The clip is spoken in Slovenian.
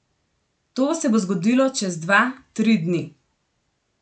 To se bo zgodilo čez dva, tri dni.